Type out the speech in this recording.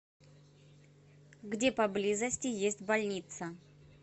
где поблизости есть больница